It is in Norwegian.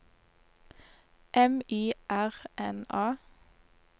M Y R N A